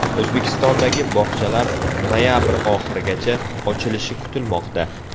O‘zbekistondagi bog‘chalar noyabr oxirigacha ochilishi kutilmoqda.